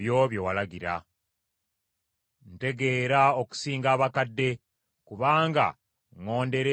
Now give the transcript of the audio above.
Ntegeera okusinga abakadde; kubanga ŋŋondera ebyo bye walagira.